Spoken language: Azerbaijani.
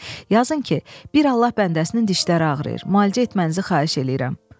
Yazın ki, bir Allah bəndəsinin dişləri ağrıyır, müalicə etmənizi xahiş eləyirəm.